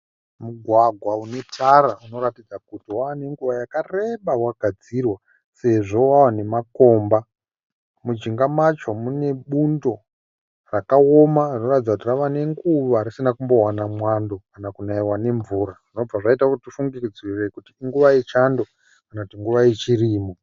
Mugwagwa unetara unoratidza kuti vane nguva yakareba vagadzirwa sezvo vanemakomba mujinga macho mune bundo rakaoma rinoratidza kuti rava nenguwa risina kumbovana mwando kana kunaiwa nemvura zvinobva zvaita kuti tifungidzire kuti inguva yechando kana kuti nguva yechirimo